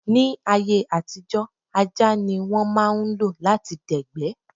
Ní ayé àtijó, ajá ní wọ́n máà ń lo lati dẹ̀gbẹ́